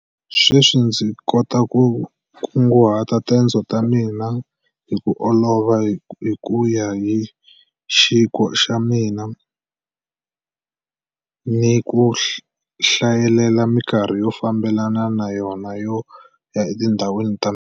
Sweswi ndzi ta kota ku kunguhata tendzo ta mina hi ku olova, hi ku ya yi xikhwa xa mina, ni ku hlayelela mikarhi yo famba hi yona yo ya etindhawini ta mina.